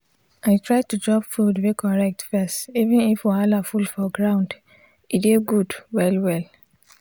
i try to chop food wey correct first even if wahala full for ground e dey good well well.